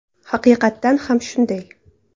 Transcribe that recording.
Haqiqatan ham shunday.